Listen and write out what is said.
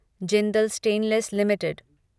Jindal Stainless limited